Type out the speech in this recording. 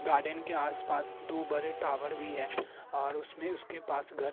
garden के आस पास दो बड़े टावर भी है और उसमें उसके पास घर --